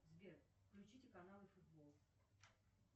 сбер включите каналы футбол